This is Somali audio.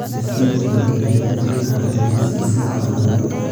Imisa jeer ayaad adeeg caafimaad siisaa xoolahaaga?